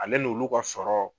Ale n'olu ka sɔrɔ